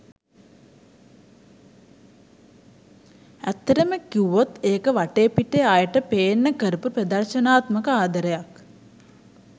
ඇත්තටම කිව්වොත් ඒක වටේ පිටේ අයට පේන්න කරපු ප්‍රදර්ශනාත්මක ආදරයක්.